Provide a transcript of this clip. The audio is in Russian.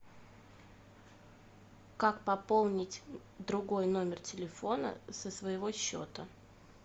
как пополнить другой номер телефона со своего счета